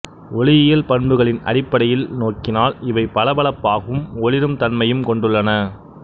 ஓளியியல் பண்புகளின் அடிப்படையில் நோக்கினால் இவை பளபளப்பாகவும் ஒளிரும் தன்மையும் கொண்டுள்ளன